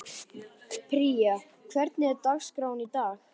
Pría, hvernig er dagskráin í dag?